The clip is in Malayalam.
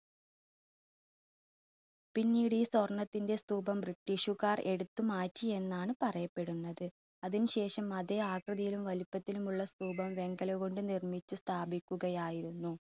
പിന്നീട് ഈ സ്വർണത്തിന്റെ സ്തൂപം british കാർ എടുത്തുമാറ്റി എന്നാണ് പറയപ്പെടുന്നത്. അതിന് ശേഷം അതേ ആകൃതിയിലും വലിപ്പത്തിലുമുള്ള സ്തൂപം വെങ്കലം കൊണ്ട് നിർമ്മിച്ച് സ്ഥാപിക്കുകയായിരുന്നു.